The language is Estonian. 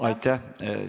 Aitäh!